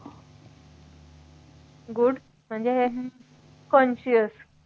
good म्हणजे health conscious